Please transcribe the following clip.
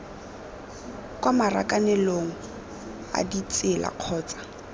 kwa marakanelong a ditsela kgotsa